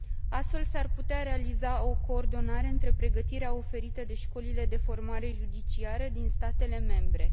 Astfel, s ar putea realiza o coordonare între pregătirea oferită de școlile de formare judiciară din statele membre.